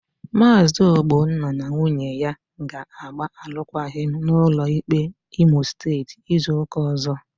Maazi Ogbonna na nwunye ya ga-agba alụkwaghịm n'ụlọ ikpe Imo Steeti izu ụka ọzọ.